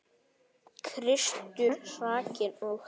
Kristur hrakinn og hæddur.